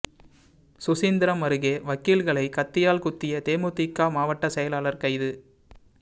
சுசீந்திரம் அருகே வக்கீல்களை கத்தியால் குத்திய தேமுதிக மாவட்ட செயலாளர் கைது